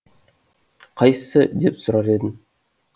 қайсысы деп сұрар едім